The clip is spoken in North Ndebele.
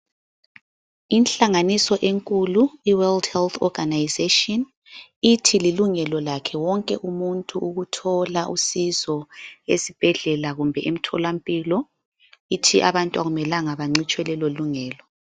Inhlanganiso enkulu iWorld Health Organization ithi lilungelo lakhe wonke umuntu ukuthola usizo esibhedlela kumbe emtholampilo. Ithi abantu akumelanga bancitshwe lelo lungelo.